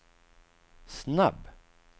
snabb